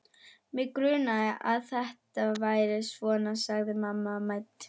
Mig grunaði að þetta færi svona sagði mamma mædd.